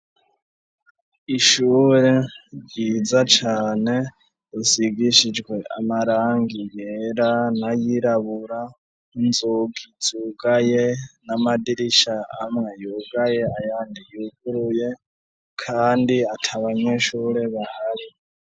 Ishure ryiza cane rusigishijwe amarangi yera n'ayirabura, inzugi zugaye n'amadirishya amwe yugaye ayandi yuguruye kandi ata banyeshure bahari.